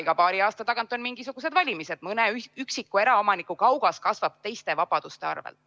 Iga paari aasta tagant on mingisugused valimised, mõne üksiku eraomaniku kaugas kasvab teiste vabaduste arvel.